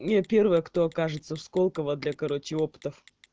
я первая кто окажется в сколково для короче опытов